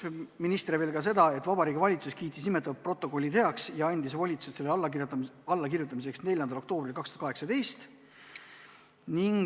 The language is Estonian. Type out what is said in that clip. Minister rõhutas, et Vabariigi Valitsus kiitis nimetatud protokolli heaks ja andis volituse selle allakirjutamiseks 4. oktoobril 2018.